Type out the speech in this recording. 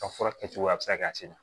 Ka furakɛcogo a bɛ se ka kɛ a se la